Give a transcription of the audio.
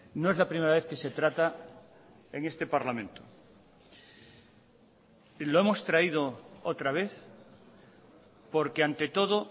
no es la primera vez que se trata en este parlamento lo hemos traído otra vez porque ante todo